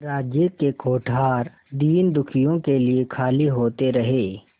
राज्य के कोठार दीनदुखियों के लिए खाली होते रहे